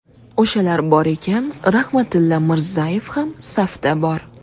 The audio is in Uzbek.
O‘shalar bor ekan, Rahmatilla Mirzayev ham safda bor”.